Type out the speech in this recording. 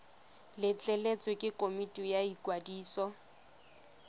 letleletswe ke komiti ya ikwadiso